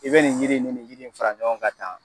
I be nin yiri in, ni nin yiri in fara ɲɔgɔn kan tan